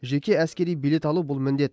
жеке әскери билет алу бұл міндет